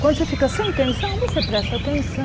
Quando você fica sem tensão, você presta